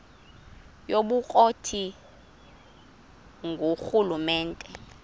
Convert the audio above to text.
yobukro ti ngurhulumente